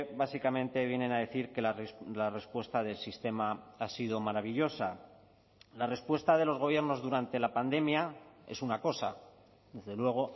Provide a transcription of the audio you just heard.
básicamente vienen a decir que la respuesta del sistema ha sido maravillosa la respuesta de los gobiernos durante la pandemia es una cosa desde luego